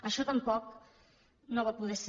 això tampoc no va poder ser